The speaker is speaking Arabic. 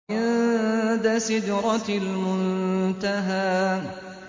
عِندَ سِدْرَةِ الْمُنتَهَىٰ